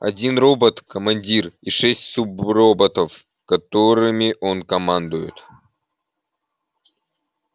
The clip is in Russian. один робот командир и шесть суброботов которыми он командует